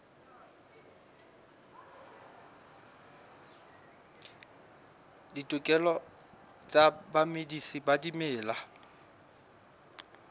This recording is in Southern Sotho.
ditokelo tsa bamedisi ba dimela